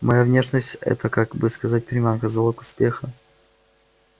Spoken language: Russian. моя внешность это как бы сказать приманка залог успеха